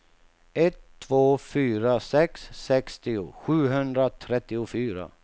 ett två fyra sex sextio sjuhundratrettiofyra